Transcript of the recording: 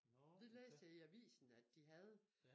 Det læste jeg i avisen at de havde